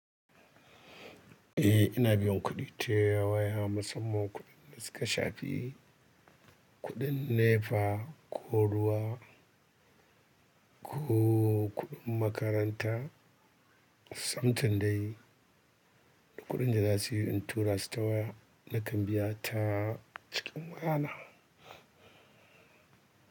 Eh ina biyan kuɗi ta yawa musamman kuɗin da suka shafi kuɗin NEPA ko ruwa ko kuɗin makaranta something dai kuɗin da za su yi in tura su tawaya na kan biya ta cikin wayana.